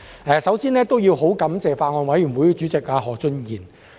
我首先感謝法案委員會主席何俊賢議員。